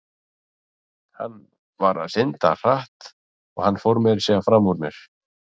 Hann var að synda hratt og hann fór meira að segja framúr mér.